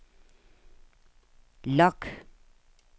log